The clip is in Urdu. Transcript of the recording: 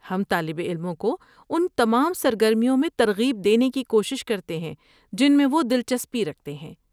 ہم طالب علموں کو ان تمام سرگرمیوں میں ترغیب دینے کی کوشش کرتے ہیں جن میں وہ دلچسپی رکھتے ہیں۔